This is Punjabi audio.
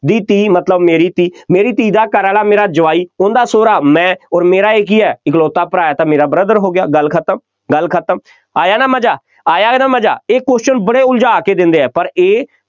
ਦੀ ਧੀ ਮਤਲਬ ਮੇਰੀ ਧੀ, ਮੇਰੀ ਧੀ ਦਾ ਘਰਵਾਲਾ, ਮੇਰਾ ਜਵਾਈ, ਉਹਦਾ ਸਹੁਰਾ, ਮੈ ਅੋਰ ਮੇਰਾ ਇਹ ਕੀ ਹੈ, ਇਕਲੌਤਾ ਭਰਾ ਹੈ ਤਾਂ ਮੇਰਾ brother ਹੋ ਗਿਆ, ਗੱਲ ਖਤਮ, ਗੱਲ ਖਤਮ, ਆਇਆ ਨਾ ਮਜ਼ਾ, ਆਇਆ ਨਾ ਮਜ਼ਾ, ਇਹ question ਬੜੇ ਉਲਝਾ ਕੇ ਦਿੰਦੇ ਆ, ਪਰ ਇਹ